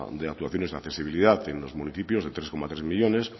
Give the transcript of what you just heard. de actuaciones de accesibilidad en los municipios de tres coma tres millónes